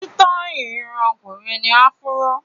Sítáì irun ọkùnrin ni áfúró.